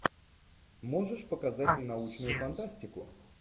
можешь показать мне научную фантастику